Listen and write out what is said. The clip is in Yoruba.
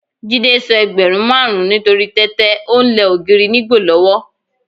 Jídé sọ ẹgbẹ̀rún márùn-ún nítorí tẹ́tẹ́, o ń lẹ ògiri nígbò lọ́wọ́.